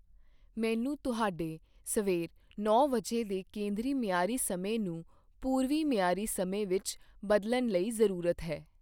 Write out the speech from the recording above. ਮੈੈਨੂੰ ਤੁਹਾਡੇ ਸਵੇਰ ਨੌ ਵਜੇ ਦੇ ਕੇਂਦਰੀ ਮਿਆਰੀ ਸਮੇਂ ਨੂੰ ਪੂਰਵੀ ਮਿਆਰੀ ਸਮੇਂ ਵਿਚ ਬਦਲਣ ਲਈ ਜਰੂਰਤ ਹੈ।